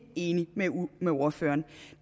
enig med ordføreren